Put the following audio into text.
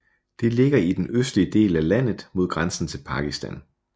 Den ligger i den østlige del af landet mod grænsen til Pakistan